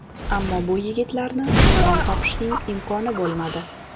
Ammo bu yigitlarni uydan topishning imkoni bo‘lmadi.